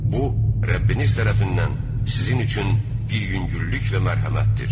Bu Rəbbiniz tərəfindən sizin üçün bir yüngüllük və mərhəmətdir.